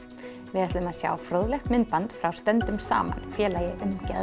við ætlum að sjá fróðlegt myndband frá stöndum saman félagi um geðfræðslu